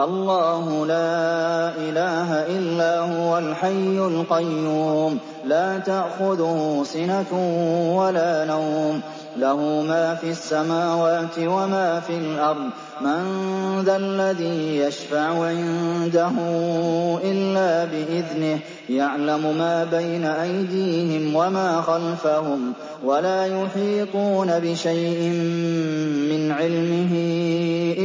اللَّهُ لَا إِلَٰهَ إِلَّا هُوَ الْحَيُّ الْقَيُّومُ ۚ لَا تَأْخُذُهُ سِنَةٌ وَلَا نَوْمٌ ۚ لَّهُ مَا فِي السَّمَاوَاتِ وَمَا فِي الْأَرْضِ ۗ مَن ذَا الَّذِي يَشْفَعُ عِندَهُ إِلَّا بِإِذْنِهِ ۚ يَعْلَمُ مَا بَيْنَ أَيْدِيهِمْ وَمَا خَلْفَهُمْ ۖ وَلَا يُحِيطُونَ بِشَيْءٍ مِّنْ عِلْمِهِ